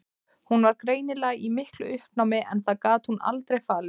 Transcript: Hún var greinilega í miklu uppnámi en það gat hún aldrei falið.